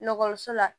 la